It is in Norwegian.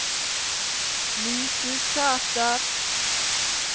Mysusæter